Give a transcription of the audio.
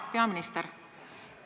Hea peaminister!